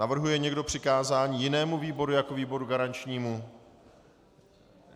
Navrhuje někdo přikázání jinému výboru jako výboru garančnímu?